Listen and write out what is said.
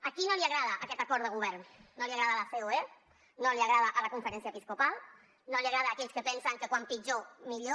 a qui no li agrada aquest acord de govern no li agrada a la ceoe no li agrada a la conferència episcopal no els agrada a aquells que pensen que com pitjor millor